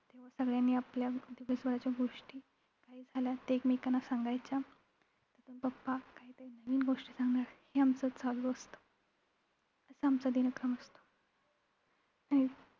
आणि सगळ्यांनी आपल्या दिवसभराच्या गोष्टी काही झाल्यास ते एकमेकांना सांगायच्या त्यांतुन papa काहीतरी नवीन गोष्ट सांगणार हे आमचं चालू असतं. असा आमचा दिनक्रम असतो. आणि